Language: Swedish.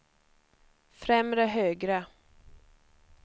främre högra